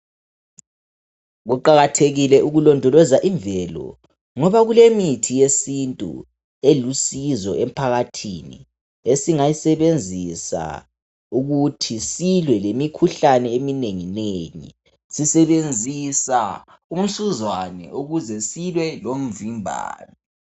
Kuqakathekile ukulondoloza imvelo ngoba kulemithi yesintu elusizo emphakathini esingayisebenzisa ukuthi silwe lemikhuhlane eminenginengi sisebenzisa umsuzwani ukuze silwe lomvimbano.